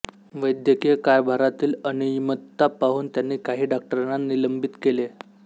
वैद्यकीय कारभारातील अनियमितता पाहून त्यांनी काही डॉक्टरांना निलंबित केले